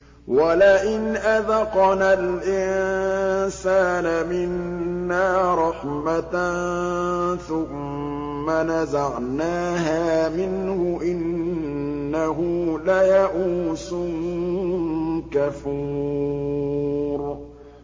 وَلَئِنْ أَذَقْنَا الْإِنسَانَ مِنَّا رَحْمَةً ثُمَّ نَزَعْنَاهَا مِنْهُ إِنَّهُ لَيَئُوسٌ كَفُورٌ